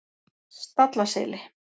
Stallaseli